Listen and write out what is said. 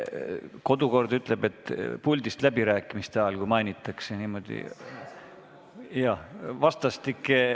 Kodukord ütleb, et kui puldist läbirääkimiste ajal kedagi mainitakse, siis on tal õigus repliigiks.